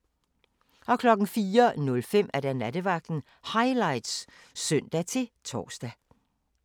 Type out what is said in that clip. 04:05: Nattevagten Highlights (søn-tor)